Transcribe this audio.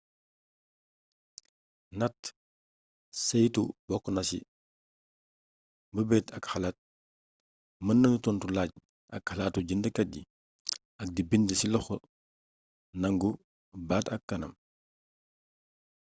natt saytu bokk na ci meebeet ak xalaat meen menu tontu laaj ak xalaatu jeend kat yi ak di bind ci loxo nangu baat ak kanam